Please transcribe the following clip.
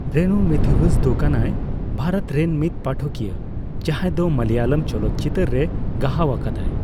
ᱨᱮᱱᱩ ᱢᱮᱛᱷᱤᱣᱩᱥ ᱫᱚ ᱠᱟᱱᱟᱭ ᱵᱷᱟᱨᱚᱛ ᱨᱮᱱ ᱢᱤᱫ ᱯᱟᱴᱷᱚᱠᱤᱭᱟᱹ ᱡᱟᱦᱟᱸᱭ ᱫᱚ ᱢᱟᱞᱟᱭᱚᱞᱚᱢ ᱪᱚᱞᱚᱛ ᱪᱤᱛᱟᱹᱨ ᱨᱮ ᱜᱟᱦᱟᱣ ᱟᱠᱟᱫᱟᱭ ᱾